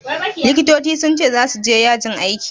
Likitoci sun ce zasu je yajin aiki.